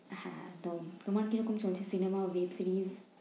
হ্যাঁ একদম। তোমার কিরকম সময় যাচ্ছে? cinema obviously ।